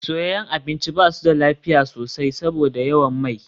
Soyayyen abinci ba su da lafiya sosai saboda yawan mai.